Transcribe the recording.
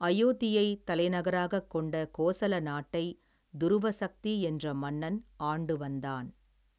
அயோத்தியை தலைநகராகக் கொண்ட கோசல நாட்டை துருவசக்தி என்ற மன்னன் ஆண்டு வந்தான்.